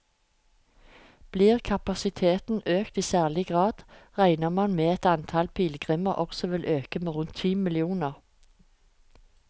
Blir kapasiteten økt i særlig grad, regner man med at antall pilegrimer også vil øke med rundt ti millioner.